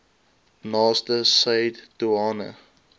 naaste said doeane